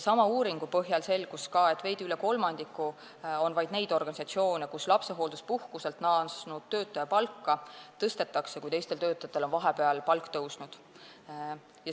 Sama uuringu põhjal selgus ka, et vaid veidi üle kolmandiku on neid organisatsioone, kus lapsehoolduspuhkuselt naasnud töötaja palka tõstetakse, kui teistel töötajatel on vahepeal palk tõusnud.